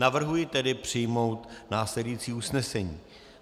Navrhuji tedy přijmout následující usnesení: